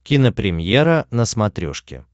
кинопремьера на смотрешке